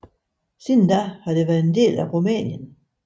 Siden da har det været en del af Rumænien